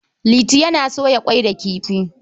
Liti yana soya ƙwai da kifi.